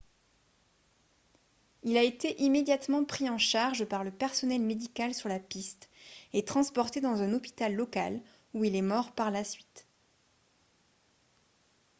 il a été immédiatement pris en charge par le personnel médical sur la piste et transporté dans un hôpital local où il est mort par la suite